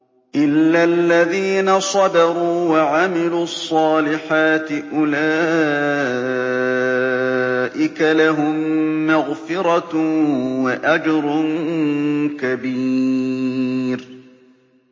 إِلَّا الَّذِينَ صَبَرُوا وَعَمِلُوا الصَّالِحَاتِ أُولَٰئِكَ لَهُم مَّغْفِرَةٌ وَأَجْرٌ كَبِيرٌ